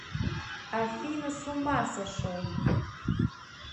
афина с ума сошел